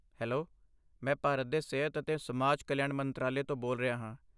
Hello! ਮੈਂ ਭਾਰਤ ਦੇ ਸਿਹਤ ਅਤੇ ਸਮਾਜ ਕਲਿਆਣ ਮੰਤਰਾਲੇ ਤੋਂ ਬੋਲ ਰਿਹਾ ਹਾਂ।